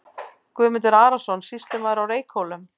Guðmundur Arason, sýslumaður á Reykhólum.